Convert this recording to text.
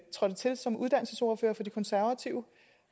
trådte til som uddannelsesordfører for de konservative